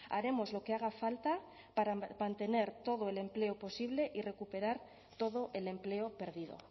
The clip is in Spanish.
haremos lo que haga falta para mantener todo el empleo posible y recuperar todo el empleo perdido